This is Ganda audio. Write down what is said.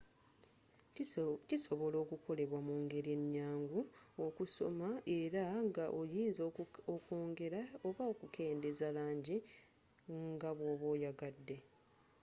kisobola okukolebwa mu ngeri enyangu okusoma era nga oyinza okwongela oba okukendeeza langi nga bwoba oyagadde